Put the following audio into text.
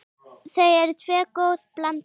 Þau tvö eru góð blanda.